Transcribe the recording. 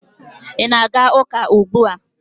ị na-aga ụka ugbua?